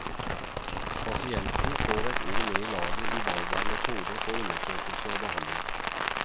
Pasienten får et ord med i laget i valget av metoder for undersøkelse og behandling.